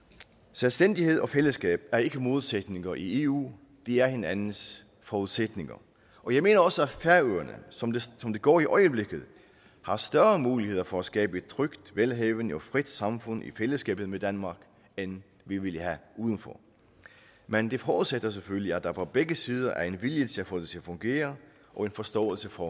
selvstændighed og fællesskab er ikke modsætninger i eu de er hinandens forudsætninger og jeg mener også at færøerne som det som det går i øjeblikket har større muligheder for at skabe et trygt velhavende og frit samfund i fællesskabet med danmark end vi ville have uden for men det forudsætter selvfølgelig at der på begge sider er en vilje til at få det til at fungere og en forståelse for